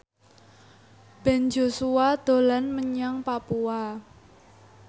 Ben Joshua dolan menyang Papua